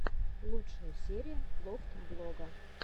лучшая серия лофтблога